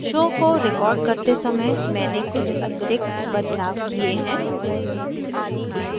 show को recording करते समय मैंने कुछ अतिरिक्त बदलाव किये हैं